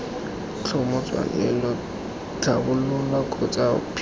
tlhomo tswelelo tlhabololo kgotsa phimolo